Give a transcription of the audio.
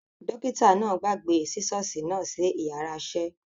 Dókítà náà gbàgbé sisosi náà sí yàrá isẹ